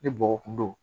Ni bɔgɔ kun don